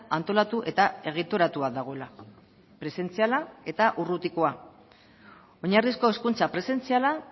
antolatu eta egituratua dagoela presentziala eta urrutikoa oinarrizko hezkuntza presentziala